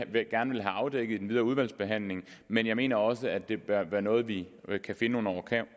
gerne vil have afdækket i den videre udvalgsbehandling men jeg mener også at det bør være noget vi kan finde nogle